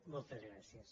moltes gràcies